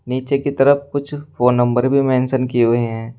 नीचे की तरफ कुछ फोन नंबर भी मेंशन किए हुए हैं।